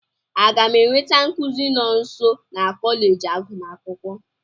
Aga m enweta nkuzi nọọsụ na kọleji agụmakwụkwọ?